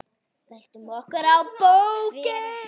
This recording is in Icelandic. Veltum okkur á bökin.